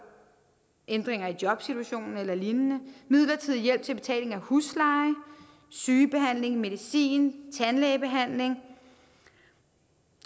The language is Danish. ændringer i jobsituationen eller lignende midlertidig hjælp til betaling af husleje sygebehandling medicin tandlægebehandling